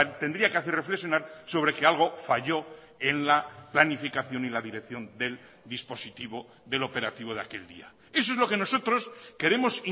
tendría que hacer reflexionar sobre que algo falló en la planificación y la dirección del dispositivo del operativo de aquel día eso es lo que nosotros queremos